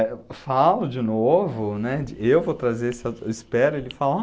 Eu falo de novo, né, eu vou trazer esse, eu espero, ele falar?